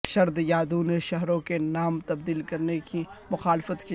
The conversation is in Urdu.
شرد یادو نے شہروں کے نام تبدیل کرنے کی مخالفت کی